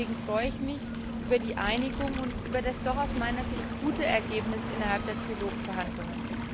Deswegen freue ich mich über die Einigung und über das aus meiner Sicht gute Ergebnis der Trilogverhandlungen.